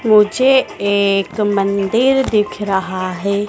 मुझे एक मंदिर दिख रहा है।